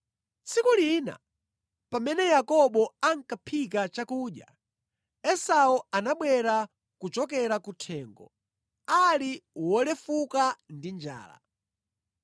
Tsiku lina pamene Yakobo ankaphika chakudya, Esau anabwera kuchokera kuthengo ali wolefuka ndi njala.